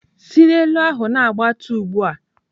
"Si n'elu ahụ na-agbatuo ugbu a!"